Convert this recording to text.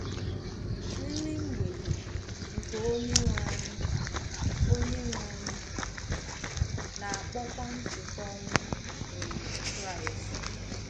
Nri mgbede nke Onye-nwe-anyị Onye-nwe-anyị a na-akpọkwa ncheta ọnwụ um Kraịst.